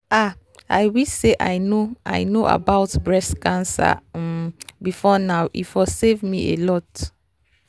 ah i wish say i know i know about breast cancer um before now e for save me alot.